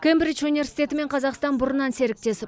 кембридж университеті мен қазақстан бұрыннан серіктес